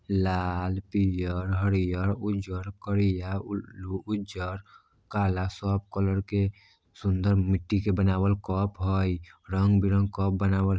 लाल पियर हरियर उज्जर करिया उ-- उज्जर काला सब कलर के सुंदर मिट्ठी के बनावल कप है रंगबिरंग कप बनावल--